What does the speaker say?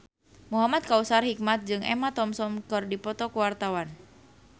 Muhamad Kautsar Hikmat jeung Emma Thompson keur dipoto ku wartawan